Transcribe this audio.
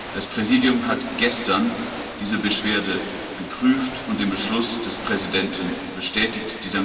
Das Präsidium hat gestern diese Beschwerde geprüft und den Beschluss des Präsidenten bestätigt.